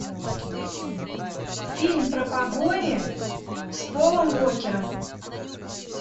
фильм про погони с полом уокером